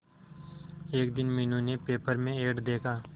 एक दिन मीनू ने पेपर में एड देखा